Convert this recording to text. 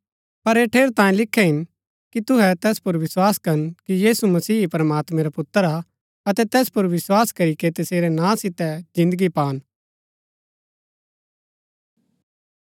पर ऐह ठेरैतांये लिखे हिन कि तुहै तैस पुर विस्वास करन कि यीशु मसीह ही प्रमात्मैं रा पुत्र हा अतै तैस पुर विस्वास करीके तसेरै नां सितै जिन्दगी पान